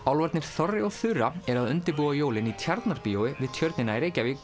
þorri og Þura eru að undirbúa jólin í Tjarnarbíói við Tjörnina í Reykjavík